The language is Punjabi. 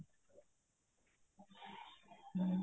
ਹਮ